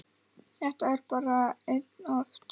Þetta er bara einn ofn.